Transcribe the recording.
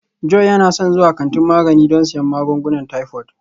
Joy yana son zuwa kantin magani don siyan magungunan typhoid